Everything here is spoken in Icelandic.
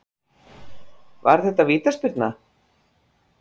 Var þetta vítaspyrna?